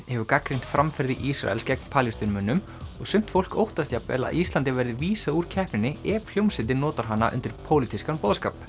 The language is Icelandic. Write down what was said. hefur gagnrýnt framferði Ísrales gegn Palestínumönnum og sumt fólk óttast jafnvel að Íslandi verði vísað úr keppninni ef hljómsveitin notar hana undir pólitískan boðskap